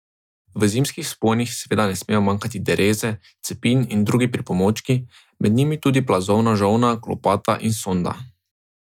V zimskih vzponih seveda ne smejo manjkati dereze, cepin in drugi pripomočki, med njimi plazovna žolna, lopata in sonda.